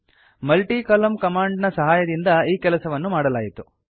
multi ಕಾಲಮ್ನ command ನ ಸಹಾಯದಿಂದ ಈ ಕೆಲಸವನ್ನು ಮಾಡಲಾಯಿತು